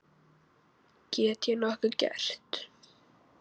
Get ég nokkuð gert?